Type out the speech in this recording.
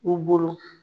U bolo